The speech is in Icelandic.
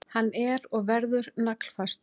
Hann er og verður naglfastur.